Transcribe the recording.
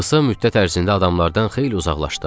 Qısa müddət ərzində adamlardan xeyli uzaqlaşdım.